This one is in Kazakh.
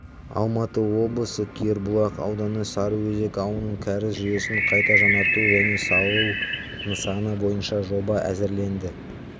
алматы облысы кербұлақ ауданы сарыөзек ауылының кәріз жүйесін қайта жаңарту және салу нысаны бойынша жоба әзірленді